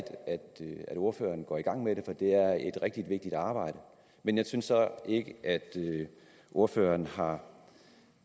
ordføreren går i gang med det for det er et rigtig vigtigt arbejde men jeg synes jeg ikke at ordføreren har